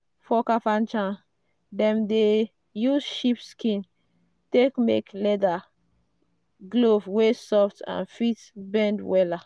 for kafanchan dem dey use sheep skin take make leather glove wey soft and fit bend wella.